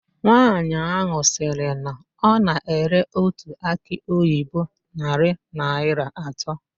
Nwaanyị ahụ sịrị na ọ na-ere otu akị oyibo narị naịra atọ.